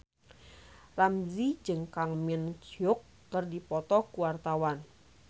Ramzy jeung Kang Min Hyuk keur dipoto ku wartawan